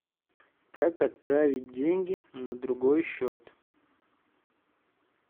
как отправить деньги на другой счет